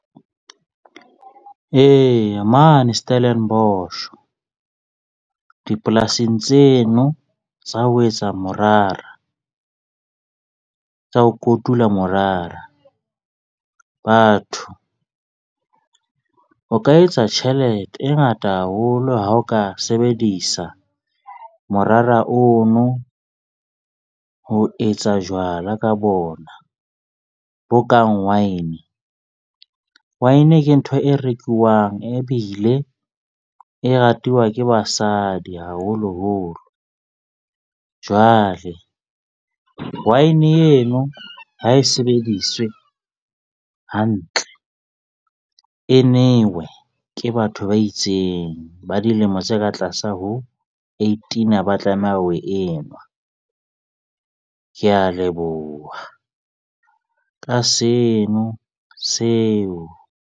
Eya, mane Stellenbosch dipolasing tseno tsa ho etsa morara tsa ho kotula morara. Batho o ka etsa tjhelete e ngata haholo ha o ka sebedisa morara ono ho etsa jwala ka bona, bo kang wine. Wine ke ntho e rekuwang e bile e ratuwa ke basadi, haholoholo. Jwale wine eno ha e sebediswe hantle, e newe ke batho ba itseng ba dilemo tse ka tlasa ho eighteen ha ba tlameha ho e nwa. Ke a leboha ka seno seo.